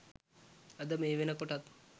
අද මේ වෙනකොටත්